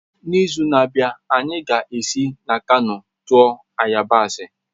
N'izu na-abịa, anyị ga-esi na Kano tụọ yabasị